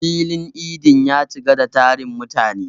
Filin idin ya cika da tarin mutane.